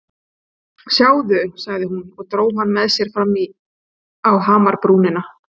Sjáðu sagði hún og dró hann með sér fram á hamrabrúnina.